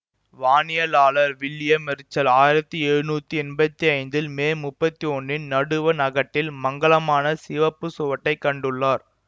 வானியலாளர் William Herschel ஆயிரத்தி எழுநூத்தி எம்பத்தி ஐந்தில் மே முப்பத்தி ஒன்னின் நடுவண் அகட்டில் மங்கலான சிவப்புச் சுவட்டைக் கண்டுள்ளார்